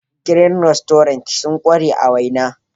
"Green restaurant sun kware a waina.